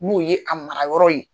N'o ye a mara yɔrɔ ye.